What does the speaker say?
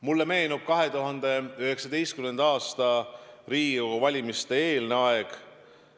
Mulle meenub 2019. aasta Riigikogu valimiste eelne aeg.